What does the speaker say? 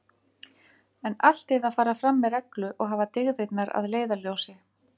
En allt yrði að fara fram með reglu og hafa dygðirnar að leiðarljósi.